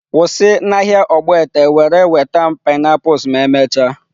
Kwụsị n'ahịa Ogbete were nweta m pineapples ma emechaa!.